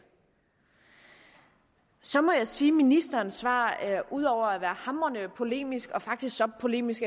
så må jeg sige at ministerens svar ud over at være hamrende polemisk faktisk så polemisk